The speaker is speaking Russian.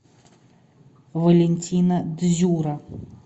валентина дзюра